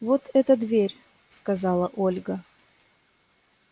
вот эта дверь сказала ольга